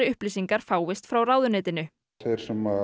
upplýsingar fáist frá ráðuneytinu þeir sem